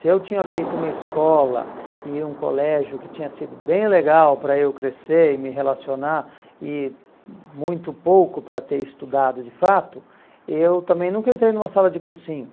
Se eu tinha feito uma escola e um colégio que tinha sido bem legal para eu crescer e me relacionar e muito pouco para ter estudado de fato, eu também nunca entrei numa sala de cursinho.